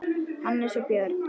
Hannes og Björn.